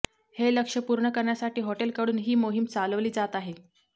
हे लक्ष्य पूर्ण करण्यासाठी हॉटेलकडून ही मोहीम चालवली जात आहे